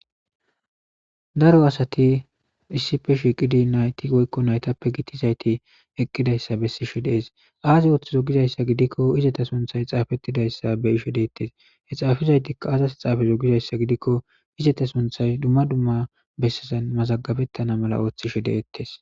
daro asati issife shiiqidi nayti goykko naytappe gittizayti eqqidayssa bessishe dees aazi ooththizo gizayssa gidikko izeta sunthay xaafettidayssa be ishe deettes he xaafizaytikka aazas h xaafezo gizayssa gidikko izeta sunthay dumma dumma bessezan mazagabettana mala ooththishe deettes